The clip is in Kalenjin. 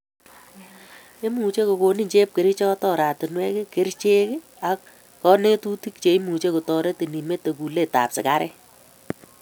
Imuche kokonin chepkerichot oratunwek , kerichek ak kanetutik che imuche kotoretin imete kulet ab sigaret